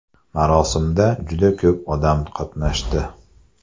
Marosimda juda ko‘p odam qatnashdi.